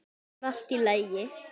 Það var allt í lagi.